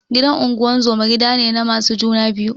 Gidan unguzuma gidane na masu juna biyu